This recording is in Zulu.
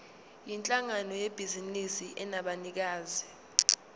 yinhlangano yebhizinisi enabanikazi